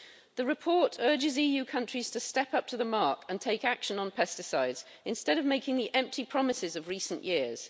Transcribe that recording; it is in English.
The report urges EU countries to step up to the mark and take action on pesticides instead of making the empty promises of recent years.